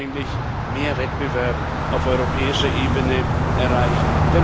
Wir wollten eigentlich mehr Wettbewerb auf europäischer Ebene erreichen.